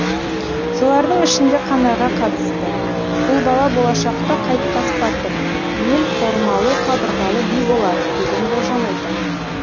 солардың ішінде қанайға қатысты бұл бала болашақта қайтпас батыр ел қормалы қабырғалы би болар деген болжам айтады